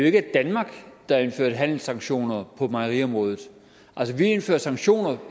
ikke er danmark der indførte handelssanktioner på mejeriområdet altså vi indfører sanktioner